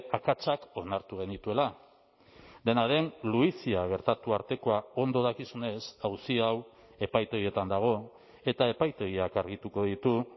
akatsak onartu genituela dena den luizia gertatu artekoa ondo dakizunez auzi hau epaitegietan dago eta epaitegiak argituko ditu